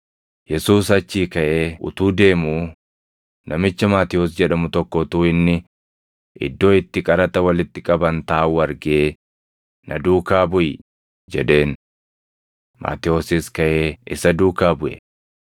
Yesuus achii kaʼee utuu deemuu namicha Maatewos jedhamu tokko utuu inni iddoo itti qaraxa walitti qaban taaʼuu argee, “Na duukaa buʼi” jedheen. Maatewosis kaʼee isa duukaa buʼe.